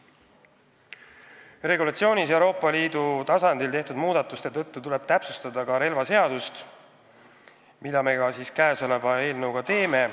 Regulatsioonis Euroopa Liidu tasandil tehtud muudatuste tõttu tuleb täpsustada ka relvaseadust, mida me käesoleva eelnõuga ka teeme.